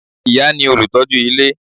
Ìyá ni olùtọ́jú ilé